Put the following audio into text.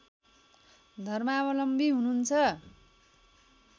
धर्मावलम्बी हुनुहुन्छ